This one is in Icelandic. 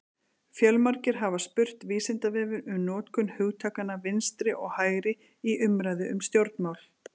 Fjölmargir hafa spurt Vísindavefinn um notkun hugtakanna vinstri og hægri í umræðu um stjórnmál: